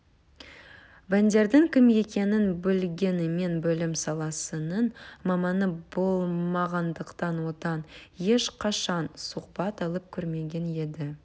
бандердің кім екенін білгенімен білім саласының маманы болмағандықтан одан ешқашан сұхбат алып көрмеген еді